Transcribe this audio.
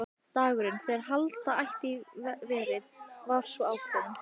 Dagurinn, þegar halda átti í verið, var svo ákveðinn.